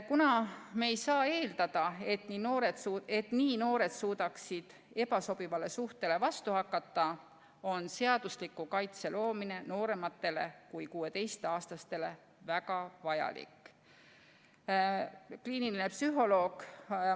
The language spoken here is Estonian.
Kuna me ei saa eeldada, et nii noored suudavad ebasobivale suhtele vastu hakata, on seadusliku kaitse loomine noorematele kui 16-aastastele väga vajalik.